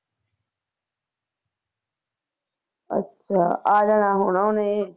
ਅੱਛਾ ਆ ਜਾਣਾ ਹੁਣ ਉਹਨੇ।